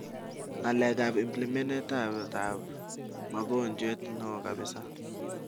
ngalekap implementenet ap mogonjwet neo kaps